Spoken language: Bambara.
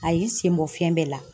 A y'i sen bɔ fɛn bɛɛ la .